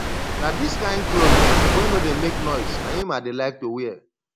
na dis kin cloth wey no dey make noise na im i dey like to wear